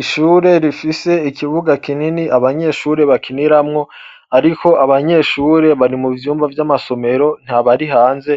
Ishure rifise ikibuga kinini abanyeshure bakiniramwo, ariko abanyeshure bari mu vyumba vy'amasomero ntabari hanze.